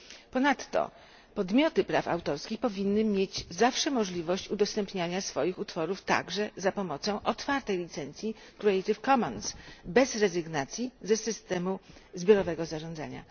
Ponadto podmioty praw autorskich powinny mieć zawsze możliwość udostępniania swoich utworów także za pomocą otwartej licencji Creative Commons bez rezygnacji z systemu zbiorowego zarządzania.